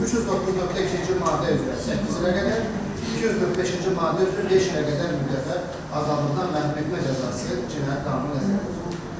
309.2-ci maddə üzrə 8 ilədək, 245-ci maddə üzrə 5 ilədək müddətə azadlıqdan məhrum etmə cəzası Cinayət Qanunu nəzərdə tutulub.